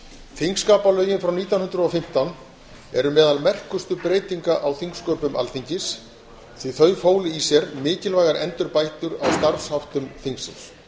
þingskapalögin frá nítján hundruð og fimmtán eru meðal merkustu breytinga á þingsköpum alþingis því að þau fólu í sér mikilvægar endurbætur á starfsháttum þingsins var